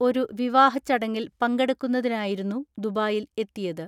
ഒരു വിവാഹ ചടങ്ങിൽ പങ്കെടുക്കുന്നതിനായിരുന്നു ദുബായിൽ എത്തിയത്.